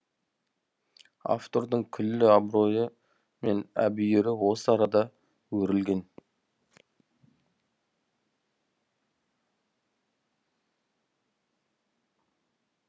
автордың күллі абыройы мен әбүйірі осы арада өрілген